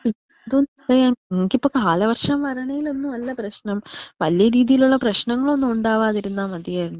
പിന്നെ എന്തോന്ന് പറയാ എനിക്കിപ്പോ കാല വർഷം വരുണെൽ അല്ല പ്രശ്നം വലിയ രീതിയിലുള്ള പ്രേശ്നങ്ങളൊന്നും ഉണ്ടാവാതിരുന്നാ മതിയായിരുന്നു.